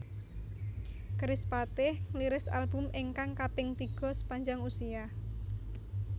Kerispatih ngliris album ingkang kaping tiga Sepanjang Usia